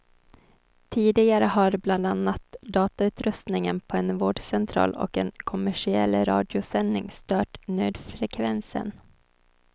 Tidigare har bland annat datautrustningen på en vårdcentral och en kommersiell radiosändning stört nödfrekvensen.